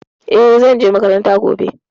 E, zan je makaranta gobe.